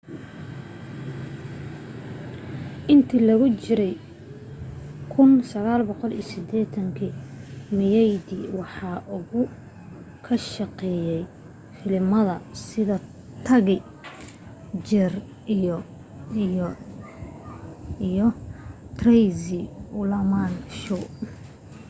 intii lagu jiray 1980-meyadi waxa uu ka shaqeeye filimada sida taxi cheers iyo the tracy ullman show